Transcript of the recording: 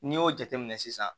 N'i y'o jateminɛ sisan